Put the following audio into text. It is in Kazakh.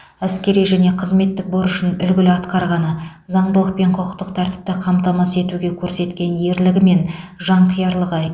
әскери және қызметтік борышын үлгілі атқарғаны заңдылық пен құқықтық тәртіпті қамтамасыз етуде көрсеткен ерлігі мен жанқиярлығы